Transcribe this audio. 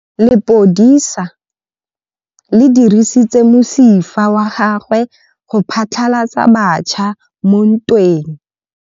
Lepodisa le dirisitse mosifa wa gagwe go phatlalatsa batšha mo ntweng.